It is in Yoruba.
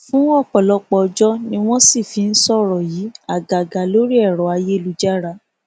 fún ọpọlọpọ ọjọ ni wọn sì fi ń sọrọ yìí àgàgà lórí ẹrọ ayélujára